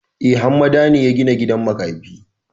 E, Hammada ne ya gina gidan makafi.